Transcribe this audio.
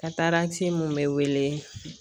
mun be wele